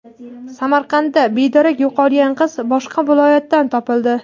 Samarqandda bedarak yo‘qolgan qiz boshqa viloyatdan topildi.